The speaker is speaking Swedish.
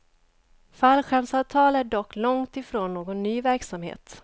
Fallskärmsavtal är dock långt ifrån någon ny verksamhet.